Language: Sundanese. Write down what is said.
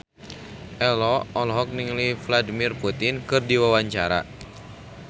Ello olohok ningali Vladimir Putin keur diwawancara